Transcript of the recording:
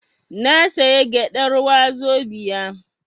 Na saya gyadar wazobia